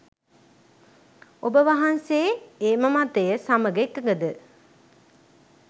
ඔබ වහන්සේ එම මතය සමග එකඟද?